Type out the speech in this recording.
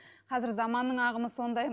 қазір заманның ағымы сондай